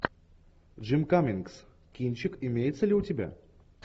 джим каммингс кинчик имеется ли у тебя